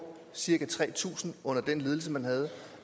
cirka tre tusind under den ledelse man havde